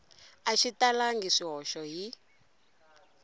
a xi talangi swihoxo hi